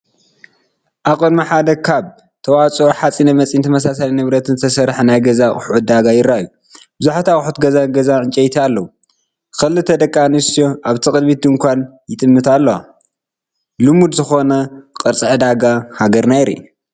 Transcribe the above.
ኣብ ቅድሚ ሓደ ካብ ተዋፅኦ ሓፂን መፂንን ተመሳሳሊ ንብረትን ዝተሰርሐ ናይ ገዛ ኣሑት ዕዳጋ ይርአዩ። ብዙሓት ኣቑሑት ገዛ ጋዝን ዕንጨይቲን ኣለዉ። ክልተ ደቂ ኣንስትዮ ናብቲ ቅድሚት ድኳን ይጥምታ ኣለዋ። ልሙድዝኾነ ቅርጺ ዕዳጋ ሃገርና የርኢ።